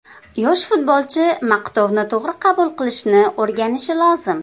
Yosh futbolchi maqtovni to‘g‘ri qabul qilishni o‘rganishi lozim.